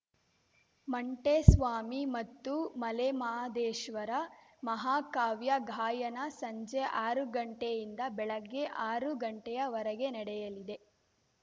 ಮಂಟೆಸ್ವಾಮಿ ಮತ್ತು ಮಲೆಮಹಾದೇಶ್ವರ ಮಹಾಕಾವ್ಯ ಗಾಯನ ಸಂಜೆ ಆರು ಗಂಟೆಯಿಂದ ಬೆಳಿಗ್ಗೆ ಆರು ಗಂಟೆಯ ವರೆಗೆ ನಡೆಯಲಿದೆ